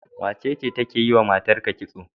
Wacece take yiwa matarka kitso?